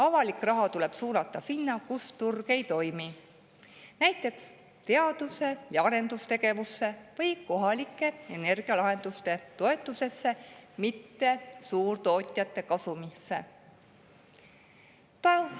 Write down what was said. Avalik raha tuleb suunata sinna, kus turg ei toimi, näiteks teadus‑ ja arendustegevusse või kohalike energialahenduste toetusesse, mitte suurtootjate kasumisse.